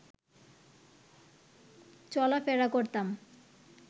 চলাফেরা করতাম